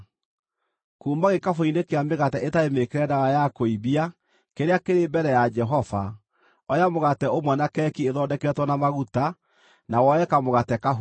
Kuuma gĩkabũ-inĩ kĩa mĩgate ĩtarĩ mĩĩkĩre ndawa ya kũimbia kĩrĩa kĩrĩ mbere ya Jehova, oya mũgate ũmwe na keki ĩthondeketwo na maguta, na woe kamũgate kahũthũ.